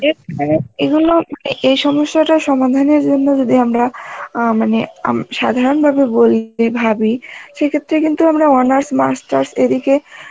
এগুলো এ সমস্যাটা সমাধানের জন্যে যদি আমরা অ্যাঁ মানে সাধারণভাবে বলি, ভাবি সেক্ষেত্রে কিন্তু আমরা honors masters এদিকে